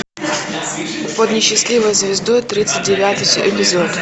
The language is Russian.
под несчастливой звездой тридцать девятый эпизод